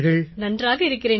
நன்றாக இருக்கிறேன் சார்